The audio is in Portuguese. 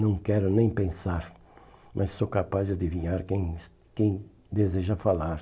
Não quero nem pensar, mas sou capaz de adivinhar quem es quem deseja falar.